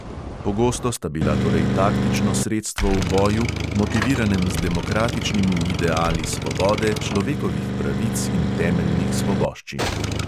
Pogosto sta bila torej taktično sredstvo v boju, motiviranem z demokratičnimi ideali svobode, človekovih pravic in temeljnih svoboščin.